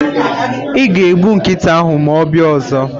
iga egbu nkịta ahu ma obia ozo